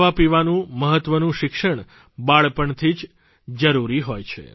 ખાવાપીવાનું મહત્વનું શિક્ષણ બાળપણથી જ જરૂરી હોય છે